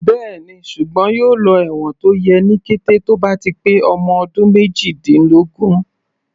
Bẹ́ẹ̀ni, ṣùgbọ́n yóò lọ ẹ̀wọ̀n tó yẹ ní kété tó bá ti pé ọmọ ọdún méjìdínlógún.